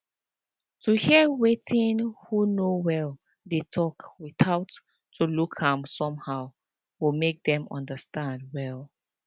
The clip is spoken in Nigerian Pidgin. to hear wetin who no well dey talk without to look am somehow go make them understand well